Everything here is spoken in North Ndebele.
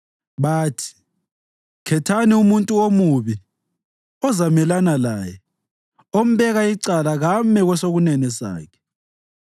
Bathi, “Khethani umuntu omubi ozamelana laye; ombeka icala kame kwesokunene sakhe.